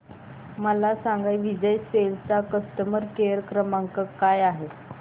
मला सांगा विजय सेल्स चा कस्टमर केअर क्रमांक काय आहे